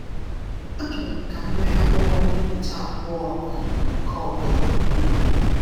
“Achọrọ m ka m nwee akwụkwọ mbipụta abụọ um nke ọ bụla.” um